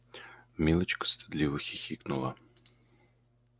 милочка стыдливо хихикнула